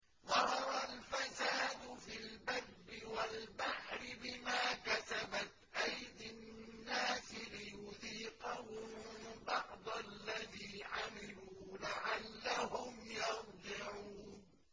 ظَهَرَ الْفَسَادُ فِي الْبَرِّ وَالْبَحْرِ بِمَا كَسَبَتْ أَيْدِي النَّاسِ لِيُذِيقَهُم بَعْضَ الَّذِي عَمِلُوا لَعَلَّهُمْ يَرْجِعُونَ